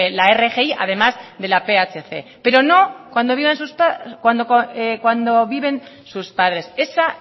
la rgi además de la phc pero no cuando viven sus padres esa